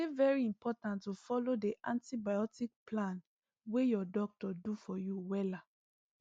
e dey very important to follow the antibiotic plan wey your doctor do for you wella